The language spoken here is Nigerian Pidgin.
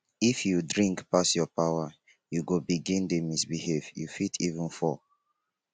if you drink pass your power you go begin dey misbehave you fit even fall.